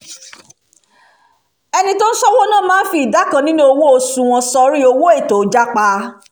ẹni tó ń ṣọ́ owó ná máa ń fi ìdá kan nínú owó oṣù wọn sọrí owó "ètò jápá"